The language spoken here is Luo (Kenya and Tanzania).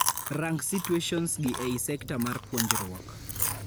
Rang situations gi ei sekta mar puonjruok.